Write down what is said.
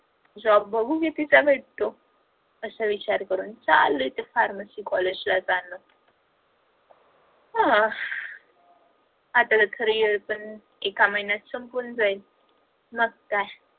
job बघू किती चालू आहेत असं विचार करून चालू आहे ते pharmacy college ला जाण आता तर third year पण एका महिन्यात संपून जाइल मग काय